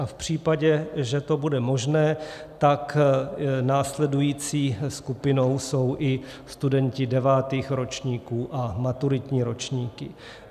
A v případě, že to bude možné, tak následující skupinou jsou i studenti devátých ročníků a maturitní ročníky.